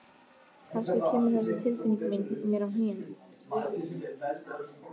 Kannski kemur þessi tilfinning mín mér á hnén.